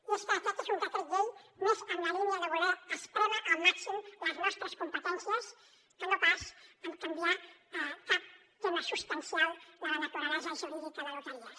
i és que aquest és un decret llei més en la línia de voler esprémer al màxim les nostres competències que no pas canviar cap tema substancial de la naturalesa jurídica de loteries